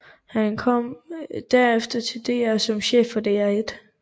Han kom derefter til DR som chef for DR1